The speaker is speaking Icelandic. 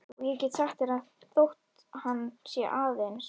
Og ég get sagt þér að þótt hann sé aðeins